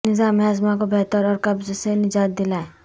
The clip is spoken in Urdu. نظام ہاضمہ کو بہتر اور قبض سے نجات دلائے